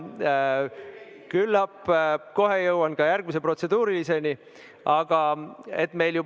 Küllap kohe jõuan ka järgmise protseduurilise küsimuseni.